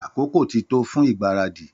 Àkókò ti tó fun ìgbáradì